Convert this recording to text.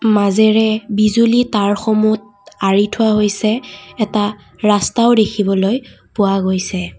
মাজেৰে বিজুলী তাঁৰসমূত আৰি থোৱা হৈছে এটা ৰাস্তাও দেখিবলৈ পোৱা গৈছে।